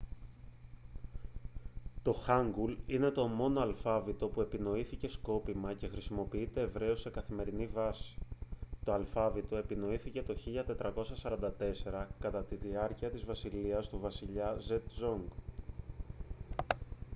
το χάνγκουλ είναι το μόνο αλφάβητο που επινοήθηκε σκόπιμα και χρησιμοποιείται ευρέως σε καθημερινή βάση. το αλφάβητο επινοήθηκε το 1444 κατά τη διάρκεια της βασιλείας του βασιλιά σέτζονγκ. 1418-1450